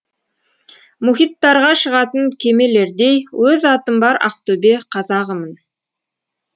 мұхиттарға шығатын кемелердей өз атым бар ақтөбе қазағымын